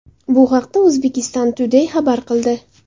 Bu haqda Uzbekistan Today xabar qildi .